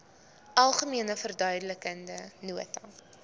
algemene verduidelikende nota